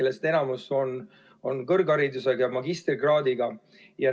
Neist enamus on kõrgharidusega ja magistrikraadiga.